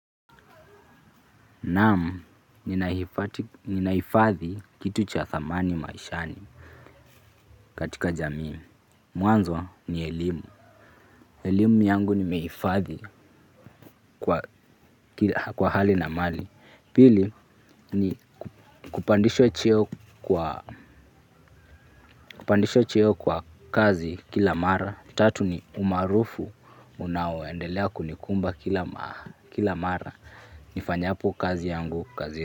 Naam, ninaifadhi kitu cha thamani maishani katika jamii. Mwanzo ni elimu. Elimu yangu nimeifadhi kwa hali na mali. Pili ni kupandisha cheo kwa kazi kila mara. Tatu ni umaarufu unaoendelea kunikumba kila mara. Nifanyapo kazi yangu kazi.